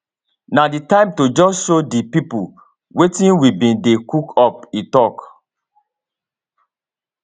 na di time to just show di pipo wetin we bin dey cook up e tok